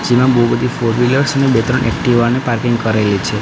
જેમાં બહુ બધી ફોરવીલર્સ અને બે ત્રણ એકટીવા ને પાર્કિંગ કરેલી છે.